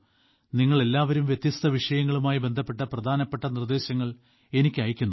നിങ്ങളെല്ലാവരും വ്യത്യസ്ത വിഷയങ്ങളുമായി ബന്ധപ്പെട്ട പ്രധാനപ്പെട്ട നിർദ്ദേശങ്ങൾ എനിക്ക് അയയ്ക്കുന്നു